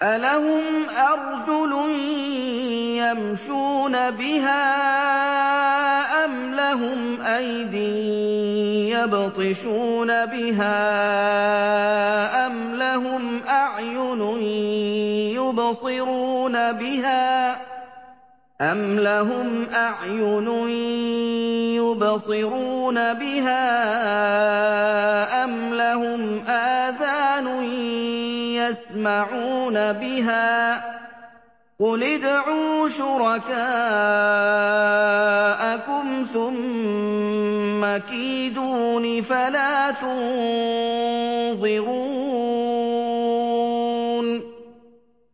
أَلَهُمْ أَرْجُلٌ يَمْشُونَ بِهَا ۖ أَمْ لَهُمْ أَيْدٍ يَبْطِشُونَ بِهَا ۖ أَمْ لَهُمْ أَعْيُنٌ يُبْصِرُونَ بِهَا ۖ أَمْ لَهُمْ آذَانٌ يَسْمَعُونَ بِهَا ۗ قُلِ ادْعُوا شُرَكَاءَكُمْ ثُمَّ كِيدُونِ فَلَا تُنظِرُونِ